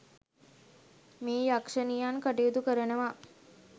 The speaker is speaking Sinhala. මේ යක්ෂණියන් කටයුතු කරනවා.